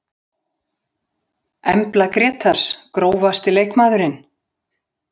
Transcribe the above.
Embla Grétars Grófasti leikmaðurinn?